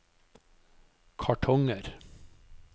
kartonger